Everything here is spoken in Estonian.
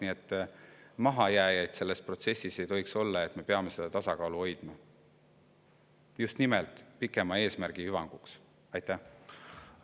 Nii et mahajääjaid selles protsessis ei tohiks olla ja me peame seda tasakaalu hoidma just nimelt pikema eesmärgi hüvanguks.